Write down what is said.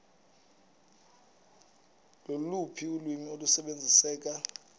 loluphi ulwimi olusebenziseka